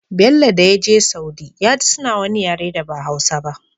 Bello dayaje saudi yaji suna wani yare da ba hausa ba